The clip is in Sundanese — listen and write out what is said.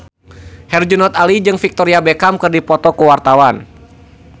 Herjunot Ali jeung Victoria Beckham keur dipoto ku wartawan